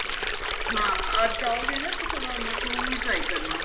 ਹਾਂ ਅੱਜ ਆਹੋਗੇ ਨਾ ਤੇ ਥੋੜਾ ਮਸ਼ਰੂਮ ਵੀ try ਕਰਨਾ